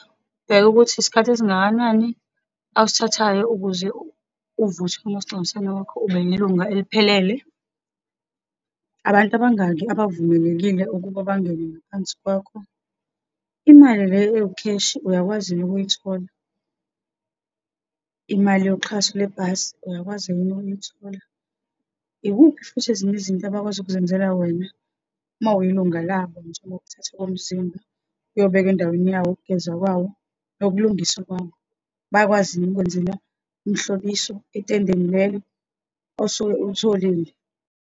Ubheke ukuthi isikhathi esingakanani awusithathayo ukuze uvuthwe umasingcwabisane wakho, ube ilunga eliphelele. Abantu abangaki abavumelekile ukuba bangene ngaphansi kwakho, imali le ewukheshi uyakwazi yini ukuyithola, imali yoxhaso lebhasi, uyakwazi yini ukuyithola ikuphi? Yikuphi futhi ezinye izinto abakwazi ukuzenzela wena uma uyilunga labo, njengokuthathwa komzimba, uyobekwa endaweni yawo, ukugezwa kwawo, nokulungiswa kwawo, bayakwazi yini ukukwenzela umhlobiso entendeni lelo osuke ulitholile.